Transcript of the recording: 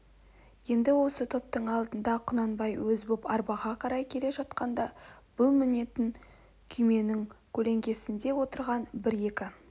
енд осы топтың алдында құнанбай өз боп арбаға қарай келе жатқанда бұл мінетін күйменің көлеңкесінде отырған бір екі